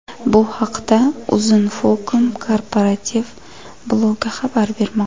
Bu haqda Uzinfocom korporativ blogi xabar bermoqda .